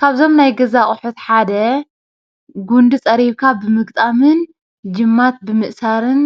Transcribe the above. ካብዞም ናይ ገዛ ኣቑሑት ሓደ ጉንዲ ፀሪብካ ብምግጣምን ጅማት ብምእሳርን